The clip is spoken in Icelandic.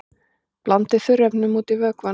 Blandið þurrefnunum út í vökvann.